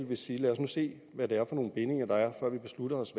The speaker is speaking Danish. vil sige lad os nu se hvad det er for nogle bindinger der er før vi beslutter os